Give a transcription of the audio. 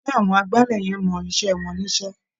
Ṣé àwọn agbálẹ̀ yẹn mọ iṣẹ́ wọn níṣẹ́?